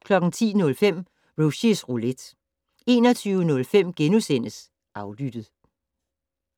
10:05: Rushys Roulette 21:05: Aflyttet *